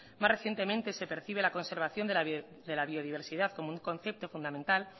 más recientemente se percibe la conservación de la biodiversidad como un concepto fundamental